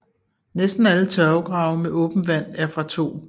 Næsten alle tørvegrave med åbent vand er fra 2